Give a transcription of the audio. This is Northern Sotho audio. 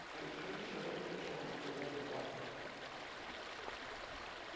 ikgabišitše ka dipheta matsogong ba